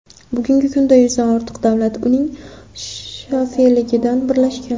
Bugungi kunda yuzdan ortiq davlat uning shafeligida birlashgan.